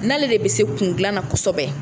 N'ale de bɛ se kundilan na kosɛbɛ